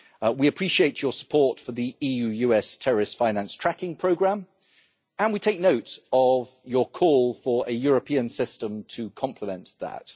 We appreciate your support for the EU US Terrorist Finance Tracking Programme and we take note of your call for a European system to complement that.